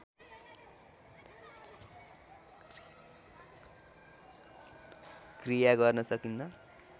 क्रिया गर्न सकिन्न